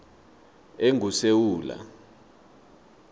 engusewula